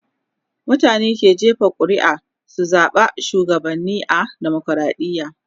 mutane ke jefa ƙuri'a su zaɓa shugabanni a demokradiya